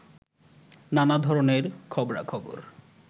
নানা ধরণের খবরাখবর